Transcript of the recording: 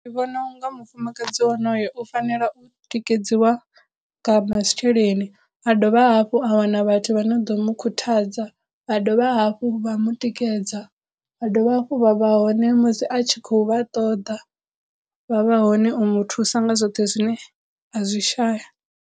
Ndi vhona unga mufumakadzi wonoyo u fanela u tikedziwa nga masheleni, a dovha hafhu a wana vhathu vha no ḓo mu khuthadza, vha dovha hafhu vha mu tikedza, vha dovha hafhu vha vha hone musi a tshi khou vha ṱoḓa vha vha hone u muthusa nga zwoṱhe zwine a zwi shaya.